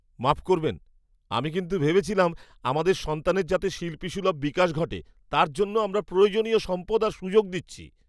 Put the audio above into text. মাফ করবেন, আমি কিন্তু ভেবেছিলাম আমাদের সন্তানের যাতে শিল্পীসুলভ বিকাশ ঘটে তার জন্য আমরা প্রয়োজনীয় সম্পদ আর সুযোগ দিচ্ছি।